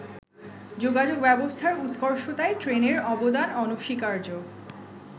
যোগাযোগ ব্যবস্থার উৎকর্ষতায় ট্রেনের অবদান অনস্বীকার্য।